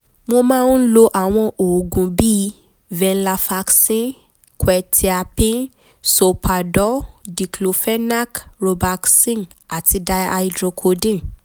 mo máa ń lo àwọn oògùn bíi venlafaxine quetiapine solpadol diclofenac robaxin àti dihydracodeine